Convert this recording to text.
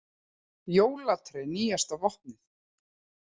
Jólatré nýjasta vopnið